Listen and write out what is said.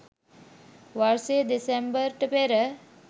වර්ෂයේ දෙසැම්බර්ට පෙර